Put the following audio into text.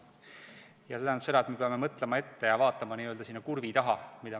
Ning see tähendab seda, et me peame mõtlema ette ja vaatama ka n-ö sinna kurvi taha.